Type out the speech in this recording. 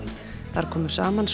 þar komu saman